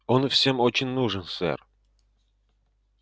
он всем очень нужен сэр